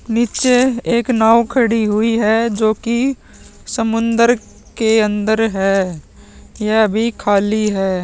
नीचे एक नाव खड़ी हुई है जो की समुद्र के अंदर है यह अभी खाली है।